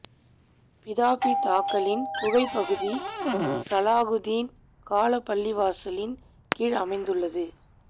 பிதாப்பிதாக்களின் குகைப் பகுதி சலாகுத்தீன் காலப் பள்ளிவாசலின் கீழ் அமைந்துள்ளது